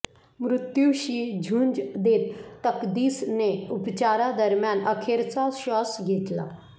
मृत्यूशी झुंज देत तकदीसने उपचारादरम्यान अखेरचा श्वास घेतला